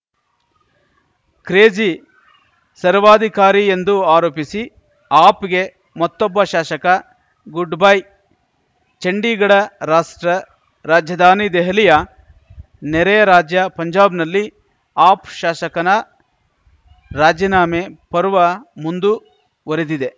crazy ಸರ್ವಾಧಿಕಾರಿ ಎಂದು ಆರೋಪಿಸಿ ಆಪ್‌ಗೆ ಮತ್ತೊಬ್ಬ ಶಾಸಕ ಗುಡ್‌ಬೈ ಚಂಡೀಗಢ ರಾಷ್ಟ್ರ ರಾಜಧಾನಿ ದೆಹಲಿಯ ನೆರೆಯ ರಾಜ್ಯ ಪಂಜಾಬ್‌ನಲ್ಲಿ ಆಪ್‌ ಶಾಸಕನ ರಾಜೀನಾಮೆ ಪರ್ವ ಮುಂದುವರೆದಿದೆ